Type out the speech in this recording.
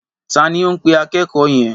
Ta ni ó ń pe akẹ́kọ̀ọ́ yẹn?